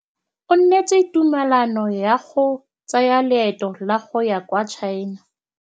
O neetswe tumalanô ya go tsaya loetô la go ya kwa China.